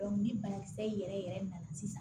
ni banakisɛ yɛrɛ yɛrɛ nana sisan